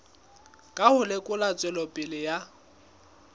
ka ho lekola tswelopele ya